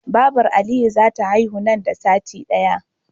Babar aliyu zata haihu nan da sati daya